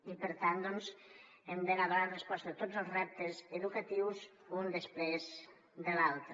i per tant doncs hem d’anar donant resposta a tots els reptes educatius un després de l’altre